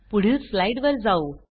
पुढील स्लाइड वर जाऊ